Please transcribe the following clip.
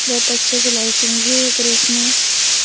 बहुत अच्छे से लाइटिंग भी है गरेज में ।